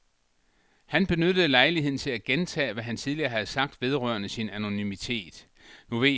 Han benyttede lejligheden til at gentage hvad han tidligere havde sagt vedrørende sin anonymitet.